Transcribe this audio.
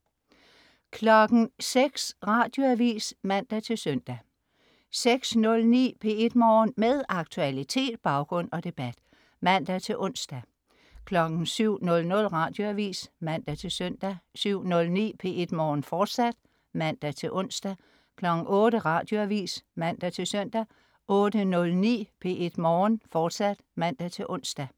06.00 Radioavis (man-søn) 06.09 P1 Morgen. Med aktualitet, baggrund og debat (man-ons) 07.00 Radioavis (man-søn) 07.09 P1 Morgen, fortsat (man-ons) 08.00 Radioavis (man-søn) 08.09 P1 Morgen, fortsat (man-ons)